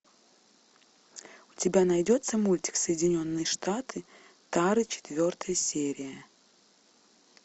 у тебя найдется мультик соединенные штаты тары четвертая серия